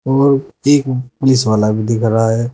और एक पुलिस वाला भी दिख रहा है।